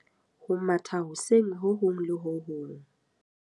Ho matha hoseng ho hong le ho hong.